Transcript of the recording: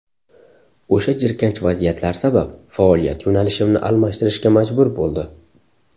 O‘sha jirkanch vaziyatlar sabab faoliyat yo‘nalishimni almashtirishga majbur bo‘ldi.